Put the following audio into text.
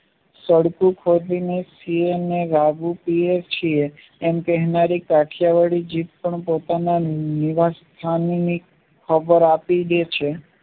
તાડકું ખોદીને એમ કહેનારી કાઠિયાવાડી જીભ પણ પોતાનાનિરાશ સ્થાનની ખબર આપી દે છે